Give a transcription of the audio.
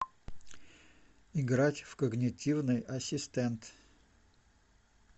играть в когнитивный ассистент